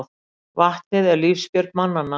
Vatnið er lífsbjörg mannanna.